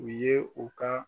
U ye o ka